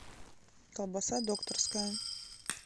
колбаса докторская